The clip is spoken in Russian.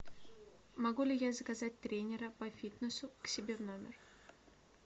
могу ли я заказать тренера по фитнесу к себе в номер